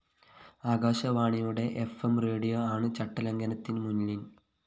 ആകാശവാണിയുടെ FM radio ആണ്‌ ചട്ടലംഘനത്തില്‍ മുന്നില്‍